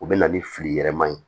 U bɛ na ni fili yɛlɛma ye